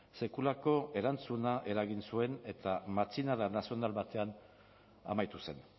sekulako erantzuna eragin zuen eta matxinada nazional batean amaitu zen